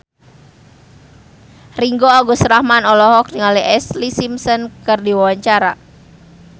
Ringgo Agus Rahman olohok ningali Ashlee Simpson keur diwawancara